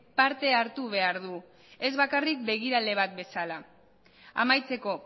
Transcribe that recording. parte hartu behar du ez bakarrik begirale bat bezala amaitzeko